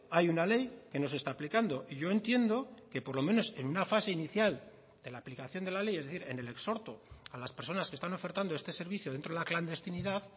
hay una ley que no se está aplicando y yo entiendo que por lo menos en una fase inicial de la aplicación de la ley es decir en el exhorto a las personas que están ofertando este servicio dentro de la clandestinidad